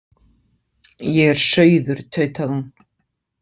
Ég er sauður, tautaði hún.